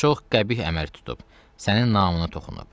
Bu çox qəbih əməl tutub, sənin namına toxunub.